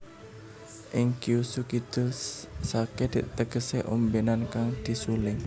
Ing Kyushu Kidul sake tegese ombenan kang disuling